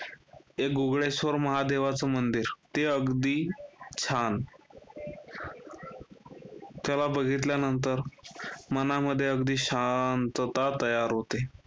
बुगळेश्वर महादेवाच मंदिर ते अगदी छान, त्याला बघितल्यानंतर मनामध्ये अगदी शांतता तयार होते.